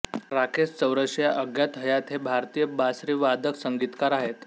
राकेश चौरसिया अज्ञात हयात हे भारतीय बासरीवादक संगीतकार आहेत